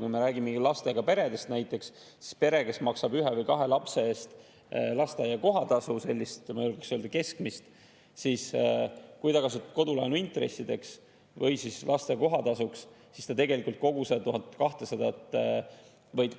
Kui me räägime lastega peredest, siis näiteks pere, kes maksab ühe või kahe lapse eest lasteaia kohatasu, sellist keskmist, kes kasutab kodulaenu intressidelt või lasteaia kohatasult, siis ta tegelikult